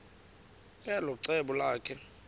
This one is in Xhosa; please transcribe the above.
elo cebo lakhe